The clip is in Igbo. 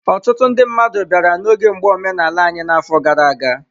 Ọtụtụ ndị mmadụ bịara n'oge mgba omenala anyị n'afọ gara aga.